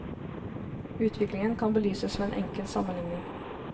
Utviklingen kan belyses ved en enkel sammenligning.